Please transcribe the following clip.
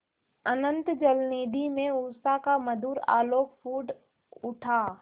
अनंत जलनिधि में उषा का मधुर आलोक फूट उठा